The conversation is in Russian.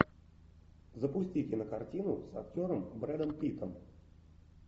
запусти кинокартину с актером брэдом питтом